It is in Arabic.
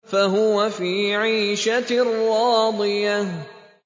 فَهُوَ فِي عِيشَةٍ رَّاضِيَةٍ